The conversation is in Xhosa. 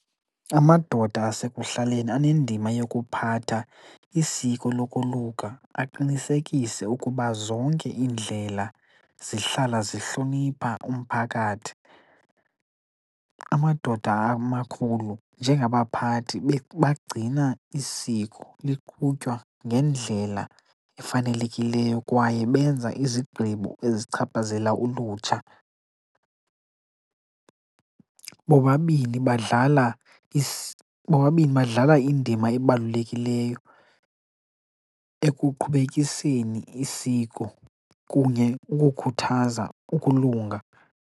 Amadoda asekuhlaleni anendima yokuphatha isiko lokoluka, aqinisekise ukuba zonke iindlela zihlala zihlonipha umphakathi. Amadoda amakhulu, njengabaphathi bagcina isiko liqhutywa ngendlela efanelekileyo kwaye benza izigqibo ezichaphazela ulutsha. Bobabini badlala bobabini badlala indima ebalulekileyo ekuqhubekiseni isiko kunye ukukhuthaza ukulunga.